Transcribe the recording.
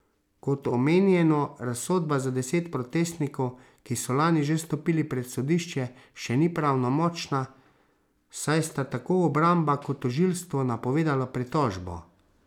Kot omenjeno, razsodba za deset protestnikov, ki so lani že stopili pred sodišče, še ni pravnomočna, saj sta tako obramba kot tožilstvo napovedala pritožbo.